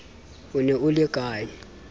o ne o le ka